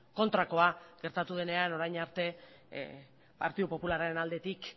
kontrakoa gertatu denean orain arte partidu popularraren aldetik